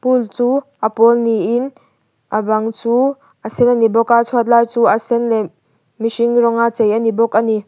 pool chu a pawl niin a bang chu a sen a ni bawk a chhuat lai chu a sen leh mihring rawng a chei a ni bawk a ni.